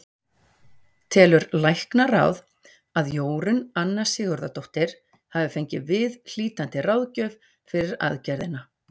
Telur læknaráð, að Jórunn Anna Sigurðardóttir hafi fengið viðhlítandi ráðgjöf fyrir aðgerðina?